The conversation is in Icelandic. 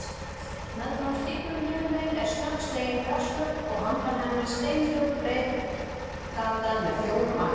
Meðfram stígnum hinumegin er snöggslegin grasflöt og handan hennar steinhljóð breiðgata með fjórum akreinum.